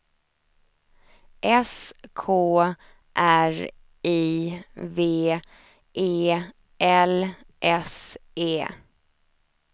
S K R I V E L S E